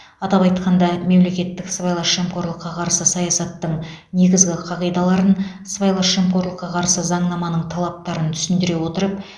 атап айтқанда мемлекеттік сыбайлас жемқорлыққа қарсы саясаттың негізгі қағидаларын сыбайлас жемқорлыққа қарсы заңнаманың талаптарын түсіндіре отырып